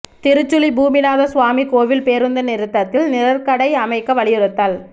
திருச்சுழி பூமிநாத சுவாமி கோவில் பேருந்து நிறுத்தத்தில் நிழற்குடை அமைக்க வலியுறுத்தல்